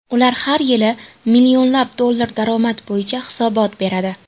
Ular har yili millionlab dollar daromad bo‘yicha hisobot beradi.